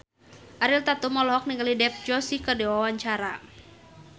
Ariel Tatum olohok ningali Dev Joshi keur diwawancara